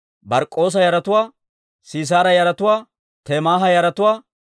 Bark'k'oosa yaratuwaa, Sisaara yaratuwaa, Temaaha yaratuwaa,